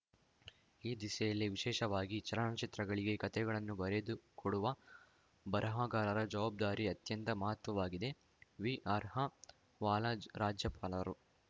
ಈ ದಿಸೆಯಲ್ಲಿ ವಿಶೇಷವಾಗಿ ಚಲನಚಿತ್ರಗಳಿಗೆ ಕಥೆಗಳನ್ನು ಬರೆದುಕೊಡುವ ಬರಹಗಾರರ ಜವಾಬ್ದಾರಿ ಅತ್ಯಂತ ಮಹತ್ವದ್ದಾಗಿದೆ ವಿಆರ್‌ಹ ವಾಲಾ ರಾಜ್ಯಪಾಲರು